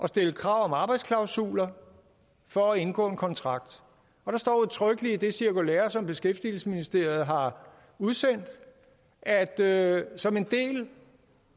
stille krav om arbejdsklausuler for at indgå en kontrakt der står udtrykkeligt i det cirkulære som beskæftigelsesministeriet har udsendt at at som en del